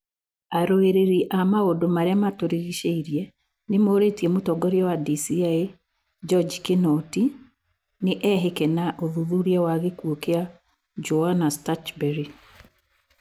Arũĩrĩri a maũndũ ma ria ma turigicĩirie ni morĩĩtie mũtongoria wa DCĩ, NjoJi Kinoti, nĩ ehĩĩke na ũthuthuria wa gikuo kia Joanna Stuchburry.